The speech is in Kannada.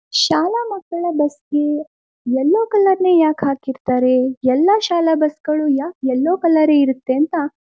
ಶಾಲಾ ಮಕ್ಕಳ ಬಸ್ ಗೆ ಎಲ್ಲೊ ಕಲರ್ ನೇ ಯಾಕೆ ಹಾಕಿರ್ತಾರೆ? ಎಲ್ಲಾ ಶಾಲಾ ಬಸ್ ಗಳು ಯಾಕೆ ಎಲ್ಲೊ ಕಲರ್ ಇರುತ್ತೆ ಅಂತ?